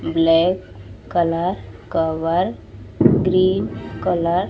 black colour cover green colour --